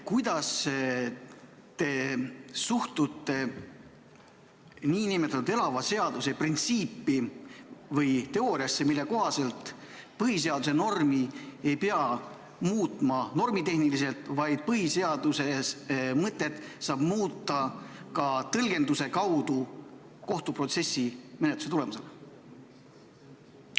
Kuidas te suhtute nn elava seaduse printsiipi või teooriasse, mille kohaselt põhiseaduse normi ei pea muutma normitehniliselt, vaid põhiseaduse mõtet saab muuta ka tõlgenduse kaudu kohtuprotsessi, -menetluse tulemusena?